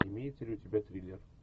имеется ли у тебя триллер